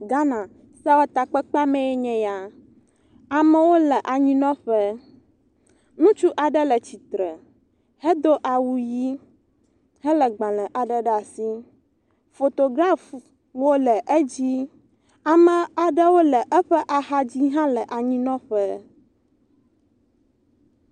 Ghana sewɔtakpekpea me nye ya. Amewo le anyinɔƒe. Ŋutsu aɖe le tsitre hedo awu ʋi hele gbale aɖe ɖe asi. Fotograf wo le edzi. Ame aɖewo le eƒe axadzi ele anyinɔƒe